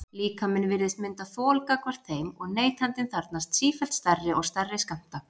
Líkaminn virðist mynda þol gagnvart þeim og neytandinn þarfnast sífellt stærri og stærri skammta.